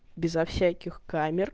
безо всяких камер